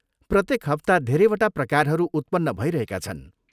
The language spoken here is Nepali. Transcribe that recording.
प्रत्येक हप्ता धेरैवटा प्रकारहरू उत्पन्न भइरहेका छन्।